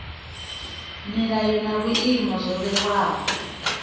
milayo na vhuimo zwo vhewaho